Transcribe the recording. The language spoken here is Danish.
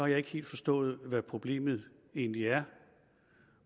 jeg ikke helt forstået hvad problemet egentlig er